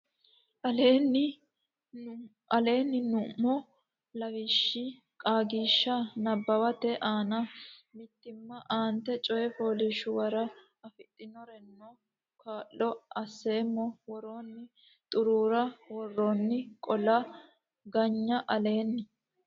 aleenni nummo lawishshi Qaagishsha Nabbawate aana mitiimma aante coy fooliishshuwara afidhinoreno kaa lo asseemmo woroonni xuruura worroonni qaalla ganyi aleenni.